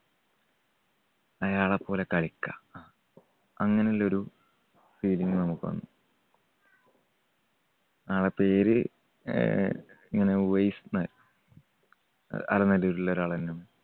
അയാളെപ്പോലെ കളിക്ക അങ്ങനുള്ളൊരു feeling നമുക്ക് വന്നു. ആൾടെ പേര് ആഹ് ഇങ്ങനെ ഉവൈസ്ന്ന്. അഹ് അലനല്ലൂരിലെ ഒരു ആള് തന്നെയാണ്.